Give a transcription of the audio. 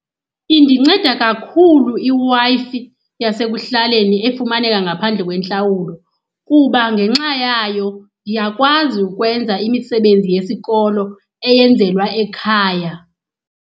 Indinceda kakhulu iWi-Fi yasekuhlaleni efumaneka ngaphandle kwentlawulo, kuba ngenxa yayo ndiyakwazi ukwenza imisebenzi yesikolo eyenzelwa ekhaya.